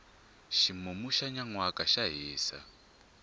ximumu xa nyanwaka xa hisa